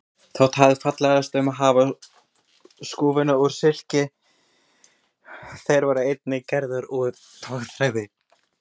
Það þótti fallegast að hafa skúfana úr silki en þeir voru einnig gerðir úr togþræði.